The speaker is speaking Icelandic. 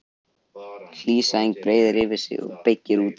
Hlý sæng breiðir yfir og byggir út kuldanum.